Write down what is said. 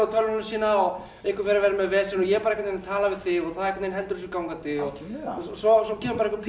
á tölvuna sína og einhver fer að vera með vesen og ég er bara að tala við þig og það heldur þessu gangandi og svo og svo kemur einhver